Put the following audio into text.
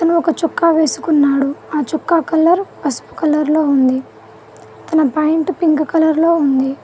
ఒక చొక్కా వేసుకున్నాడు ఆ చొక్కా కలర్ పసుపు కలర్ లో ఉంది తన పాయింట్ ప్యాంట్ పింక్ కలర్ లో ఉంది.